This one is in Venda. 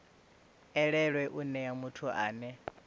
elelwe u nea muthu ane